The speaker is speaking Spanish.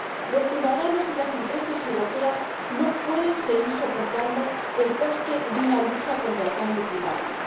Los ciudadanos y las empresas europeas no pueden seguir soportando el coste de una lucha contra el cambio climático.